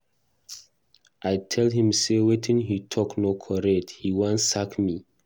I tell him say wetin he talk no correct, he wan sack me.